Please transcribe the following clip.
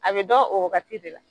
A bɛ dɔn o waagati de la.